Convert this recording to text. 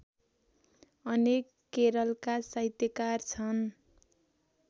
अनेक केरलका साहित्यकार छन्